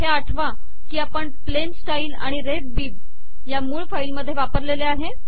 हे आठवा की आपण प्लेन स्टाइल आणि रेफ bibरफ बीब या मूळ फाईल मध्ये वापरलेले आहे